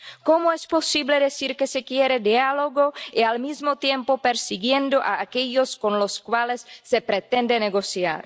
¿Cómo es posible decir que se quiere diálogo y, al mismo tiempo, perseguir a aquellos con los cuales se pretende negociar?